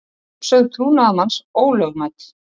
Uppsögn trúnaðarmanns ólögmæt